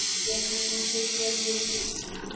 Ég kann ekki svör við því.